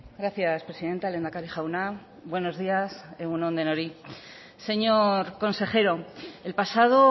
gracias presidenta lehendakari jauna buenos días egun on denoi señor consejero el pasado